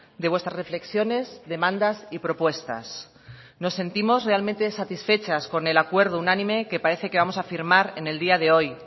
de vuestras reflexiones demandas y propuestas nos sentimos realmente satisfechas con el acuerdo unánime que parece que vamos a firmar en el día de hoy